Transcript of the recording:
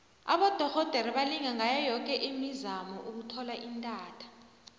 abodorhodere balinga ngayo yoke imizamo ukuthola intatha